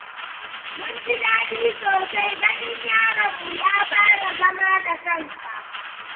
mun ji daɗi sosai ganin yaron mu ya fara zama da kansa